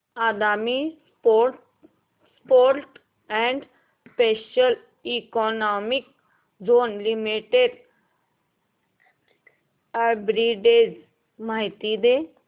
Adani ports and special economic zone limited arbitrage माहिती दे